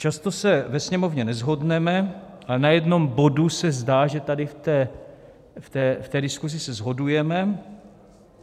Často se ve Sněmovně neshodneme, ale na jednom bodu se zdá, že tady v té diskuzi se shodujeme.